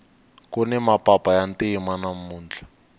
kuni mapapa ya ntima namuntlha